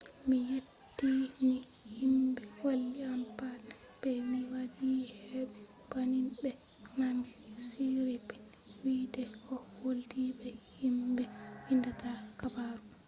mi yetti ni himɓe walli am pat be mi waɗi aibe banning ɓe nani siripn wi de o woldi be himɓe windata habaru.